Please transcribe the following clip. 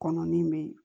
Kɔnɔ min bɛ ye